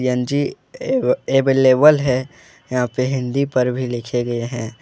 CNG अवे available है यहां पे हिंदी पर भी लिखे गए हैं ।